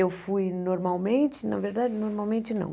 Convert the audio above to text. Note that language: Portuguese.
Eu fui normalmente, na verdade, normalmente não.